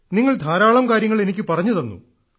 നിങ്ങൾ ധാരാളം കാര്യങ്ങൾ എനിക്കു പറഞ്ഞുതന്നു